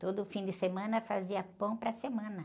Todo fim de semana fazia pão para a semana.